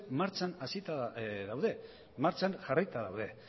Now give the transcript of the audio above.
martxan hasita daude martxan jarrita daude